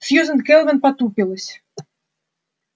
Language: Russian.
сьюзен кэлвин потупилась